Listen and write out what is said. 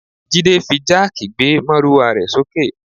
Jide fi jáàkì gbé márúwá rẹ̀ sókè